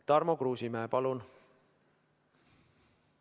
Tarmo Kruusimäe, palun!